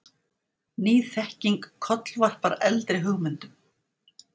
Ný þekking kollvarpar eldri hugmyndum.